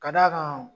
Ka d'a kan